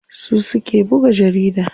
Su suke buga jarida.